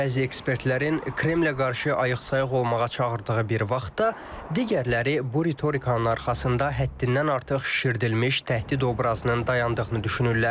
Bəzi ekspertlərin Kremlə qarşı ayıq-sayıq olmağa çağırdığı bir vaxtda digərləri bu ritorikanın arxasında həddindən artıq şişirdilmiş təhdid obrazının dayandığını düşünürlər.